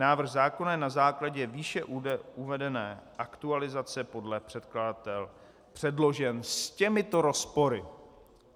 Návrh zákona je na základě výše uvedené aktualizace podle předkladatele předložen s těmito rozpory.